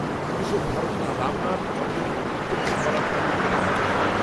পুলিশের ধারণা, রামনাথ, অঞ্জনিকে উত্যক্ত করার ফলেই, এটা ঘটেছে